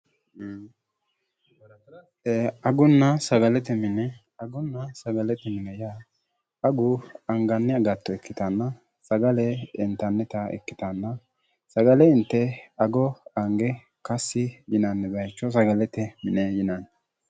baratarate agunna sagalete mine agunna sagalete mine yaa agu anganni agatto ikkitaanna sagale intannita ikkitaanna sagale inte ago ange kassi jinanni bayicho sagalete mine yinanni